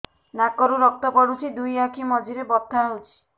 ନାକରୁ ରକ୍ତ ପଡୁଛି ଦୁଇ ଆଖି ମଝିରେ ବଥା ହଉଚି